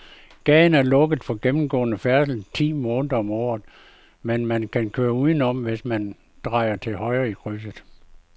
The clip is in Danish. Gaden er lukket for gennemgående færdsel ti måneder om året, men man kan køre udenom, hvis man drejer til højre i krydset.